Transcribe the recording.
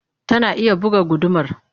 Tana iya buga gudumar?